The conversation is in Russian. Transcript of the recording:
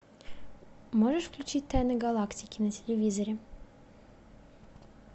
можешь включить тайны галактики на телевизоре